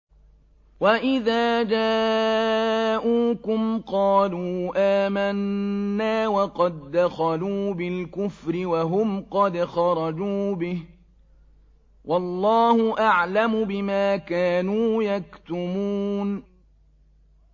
وَإِذَا جَاءُوكُمْ قَالُوا آمَنَّا وَقَد دَّخَلُوا بِالْكُفْرِ وَهُمْ قَدْ خَرَجُوا بِهِ ۚ وَاللَّهُ أَعْلَمُ بِمَا كَانُوا يَكْتُمُونَ